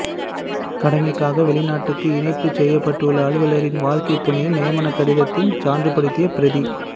கடமைக்காக வெளிநாட்டுக்கு இணைப்புச் செய்யப்படவுள்ள அலுவலரின் வாழ்க்கைத்துணையின் நியமனக் கடிதத்தின் சான்றுப்படுத்திய பிரதி